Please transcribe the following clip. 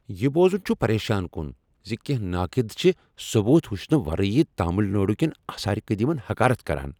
یہ بوزن چھ پریشان کن ز کینٛہہ ناقد چھ ثبوت وچھنہٕ ورٲے تامل ناڈوٗ کین آثار قٔدیمن حقارت کران۔